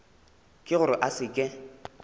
ke gore a se ke